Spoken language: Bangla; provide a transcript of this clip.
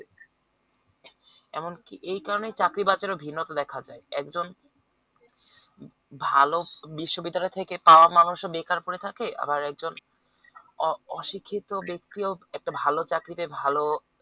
এমনকি এই কারণেই চাকরি বাজারে ভিন্নতা দেখা যায় একজন ভালো বিশ্ববিদ্যালয় থেকে পাওয়া মানুষও বেকার পোড়ে থাকে আবার একজন অ অশিক্ষিত ব্যক্তি ও একটা ভালো চাকরিতে ভালো